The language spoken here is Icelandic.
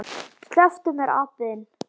SLEPPTU MÉR, APINN ÞINN!